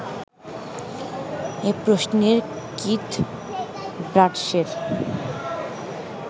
এ প্রশ্নে কিথ ব্রাডশের